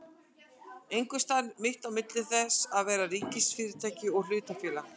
Einhvers staðar mitt á milli þess að vera ríkisfyrirtæki og hlutafélag?